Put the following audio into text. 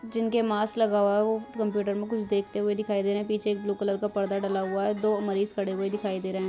जिनके मास्क लगा हुआ है वो कंप्यूटर में कुछ देखते हुए दिखाई दे रहे हैं पीछे एक ब्लू कलर का पर्दा डला हुआ है दो मरीज खड़े हुए दिखाई दे रहे हैं।